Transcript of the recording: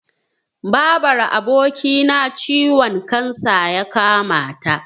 Babar abokina ciwon kansa ya kamata.